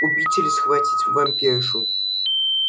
убить или схватить вампиршу